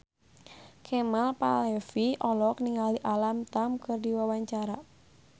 Kemal Palevi olohok ningali Alam Tam keur diwawancara